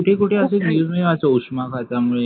इथे कुठे असे निर्णय असते उष्माघातामुळे